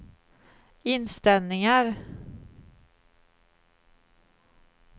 inställningar